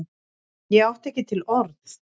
Ég átti ekki til orð!